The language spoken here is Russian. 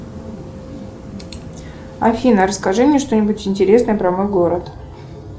афина расскажи мне что нибудь интересное про мой город